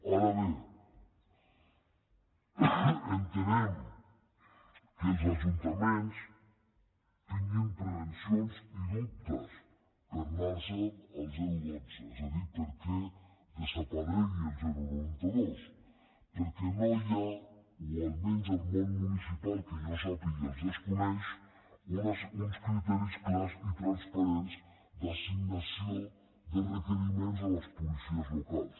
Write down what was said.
ara bé entenem que els ajuntaments tinguin prevencions i dubtes per anar se’n al dotze és a dir perquè desaparegui el noranta dos perquè no hi ha o almenys el món municipal que jo sàpiga els desconeix uns criteris clars i transparents d’assignació de requeriments a les policies locals